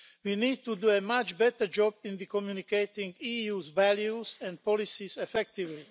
We need to do a much better job in communicating the EU's values and policies effectively.